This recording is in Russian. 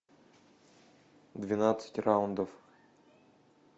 двенадцать раундов